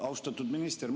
Austatud minister!